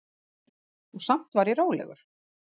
Og samt var ég rólegur.